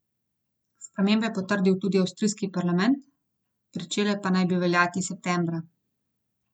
Spremembe je potrdil tudi avstrijski parlament, pričele pa naj bi veljati septembra.